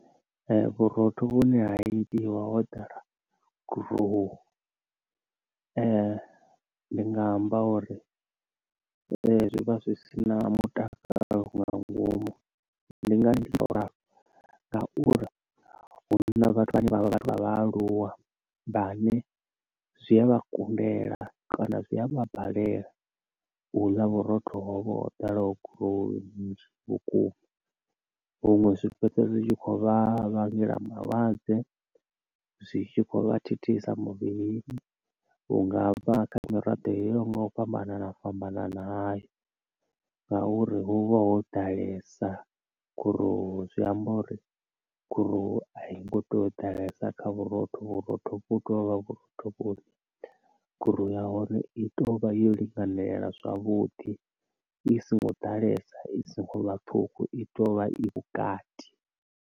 Vhurotho vhune ha itiwa ho ḓala gurowu ndi nga amba uri zwi vha zwi si na mutakalo nga ngomu ndi ngani ndi khou ralo ngauri huna vhathu vhane vha vha vha vhathu vha vhaaluwa vhaṋe zwi a vha kundela kana zwi a vha balelwa u ḽa vhurotho hovho ho ḓalaho gurowu nzhi vhukuma, huṅwe zwi fhedza zwi tshi khou vha vhangela malwadze, zwi tshi kho vha thithisa muvhili unga kha miraḓo yoyaho nga u fhambanana fhambanana hayo ngauri hu vha ho ḓalesa gurowu, zwi amba uri gurowu a i ngo tou ḓalesa kha vhurotho vhurotho u tovha vhurotho vhowi gurowu ya hone i tou vha yo linganela zwavhuḓi i songo ḓalesa i songo vhaṱuku i tovha i vhukati.